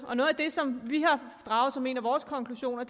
og det som vi har draget som en af vores konklusioner